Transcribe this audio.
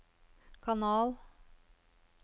kanal